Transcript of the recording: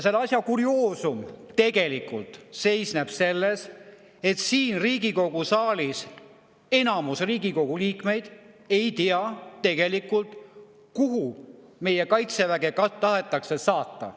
Selle asja kurioosum seisneb tegelikult selles, et enamik Riigikogu liikmeid siin saalis tegelikult ei tea, kuhu meie kaitseväge tahetakse saata.